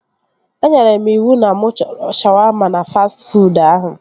Enyere m iwu na mụ chọrọ shawaama na fastị fuud ahụ